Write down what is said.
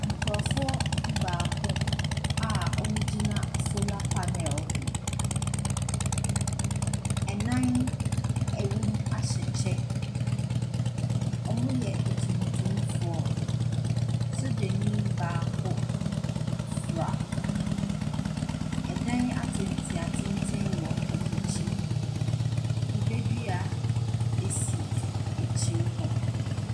Nkurɔfoɔ du-baako a wɔgyina solar panel ho. Nnan a wɔwom ahyɛ kyɛ. Wɔyɛ atuntumfoɔ. Sogyani baako fra. Ɛdan atentenatenten wɔ wɔn akyi. Kube dua si akyire hɔ.